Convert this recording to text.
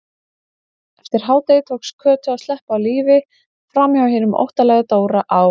Eftir hádegi tókst Kötu að sleppa á lífi framhjá hinum óttalega Dóra á